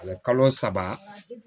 A bɛ kalo saba